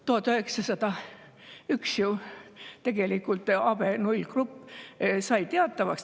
1901. aastal sai ju tegelikult AB0-grupp teatavaks.